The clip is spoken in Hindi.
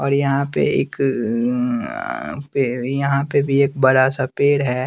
और यहां पे एक अह पेड़ यहां पे भी एक बड़ा सा पेड़ है।